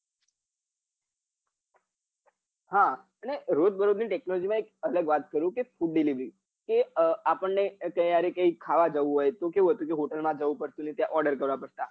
હા અને રોઝબરોઝ ની technology માં એક વાર કરું કે food delivery આર્પણ ને કૈક ખાવા જાઉં હોય તો કેવું હતું કે હોટલ માં જાઉં પડતું ને order કરવા પડતા